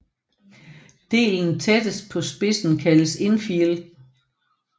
Delen tættest på spidsen kaldes infield